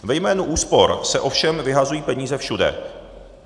Ve jménu úspor se ovšem vyhazují peníze všude.